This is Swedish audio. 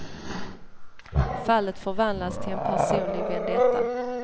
Fallet förvandlas till en personlig vendetta.